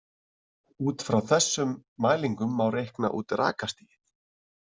Út frá þessum mælingum má reikna út rakastigið.